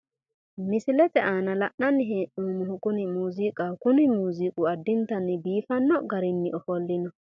Misilete aana la'nanni hee'noomohu kuni muuziiqaho. kuni muuziiqi addintanni biifanno garinni ofollino.